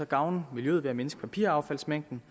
gavne miljøet ved at mindske papiraffaldsmængden